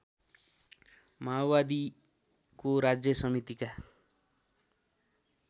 माओवादीको राज्य समितिका